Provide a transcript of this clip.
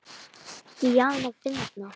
Díana fyndna.